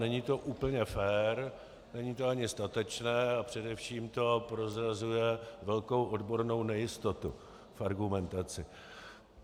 Není to úplně fér, není to ani statečné a především to prozrazuje velkou odbornou nejistotu v argumentaci.